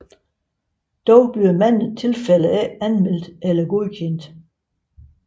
Dog bliver mange tilfælde ikke anmeldt eller godkendt